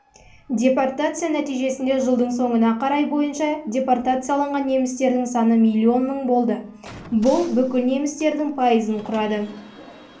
депортация нәтижесінде жылдың соңына қарай бойынша депортацияланған немістердің саны миллион мың болды бұл бүкіл немістердің пайызын құрады